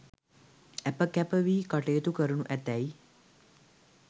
ඇප කැප වී කටයුතු කරණු ඇතැයි